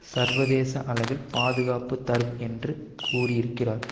சர்வதேச அளவில் பாதுகாப்பு தரும் என்று கூறியிருக்கிறார்